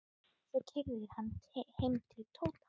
Svo keyrði ég hann heim til Tóta.